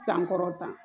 Sankɔrɔta